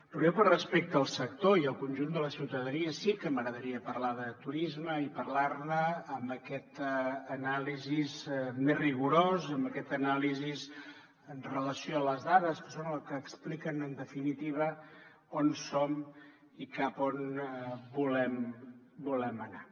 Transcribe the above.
però a mi per respecte al sector i al conjunt de la ciutadania sí que m’agradaria parlar de turisme i parlar ne amb aquesta anàlisi més rigorosa amb aquesta anàlisi amb relació a les dades que són el que explica en definitiva on som i cap a on volem anar